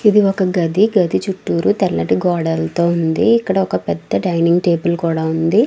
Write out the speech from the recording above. ఇది ఒక గది. గది చుట్టూరు తెల్లటి గోడలతో ఉంది. ఇక్కడ ఒక పెద్ద డైనింగ్ టేబుల్ కూడా ఉంది.